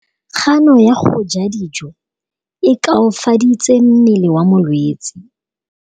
Kganô ya go ja dijo e koafaditse mmele wa molwetse.